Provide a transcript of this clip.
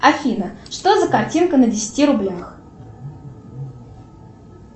афина что за картинка на десяти рублях